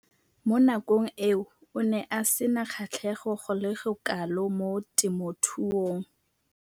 Mo nakong eo o ne a sena kgatlhego go le kalo mo temothuong.